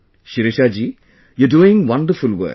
Shirisha ji you are doing a wonderful work